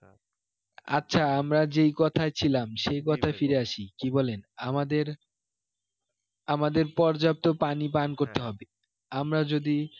আচ্ছা আমরা যেই কথায় ছিলাম সেই কথায় ফিরে আসি কি বলেন আমাদের আমাদের পর্যাপ্ত পানি পান করতে হবে আমরা যদি